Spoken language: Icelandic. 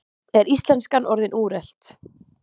Er íslenskan orðin úrelt?